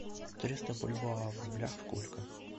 триста бальбоа в рублях сколько